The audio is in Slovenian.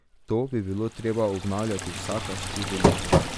To bi bilo treba obnavljati vsaka štiri leta.